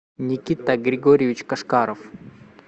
никита григорьевич кашкаров